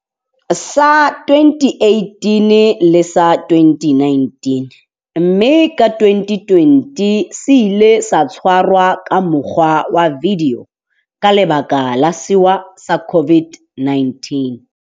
sa 2018 le sa 2019, mme ka 2020 se ile sa tshwarwa ka mokgwa wa vidio ka lebaka la sewa sa COVID-19.